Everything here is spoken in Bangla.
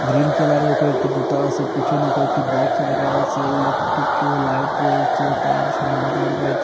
গ্রীন কালারের কয়েকটি জুতা আছে পিছনে কয়েকটি বক্স রাখা আছে ইলেকট্রিক লাইট রয়েছে তার সরঞ্জাম রয়েছে।